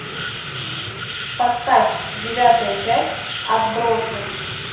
поставь девятая часть отбросы